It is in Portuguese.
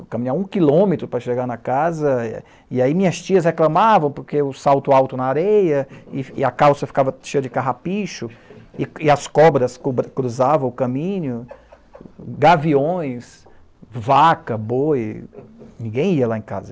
Eu caminhava um quilômetro para chegar na casa e aí minhas tias reclamavam porque o salto alto na areia e a calça ficava cheia de carrapicho e e as cobras cruzavam o caminho, gaviões, vaca, boi, ninguém ia lá em casa.